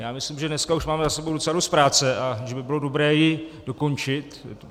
Já myslím, že dneska už máme za sebou docela dost práce a že by bylo dobré ji dokončit.